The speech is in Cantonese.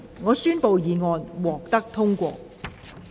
我宣布議案獲得通過。